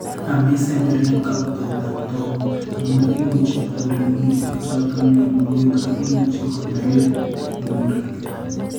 ame sember yon kagotau taaptook, amu imuuchi konyor minutik chotok miyanwogik, ak imuuchi konyaliil mooriik.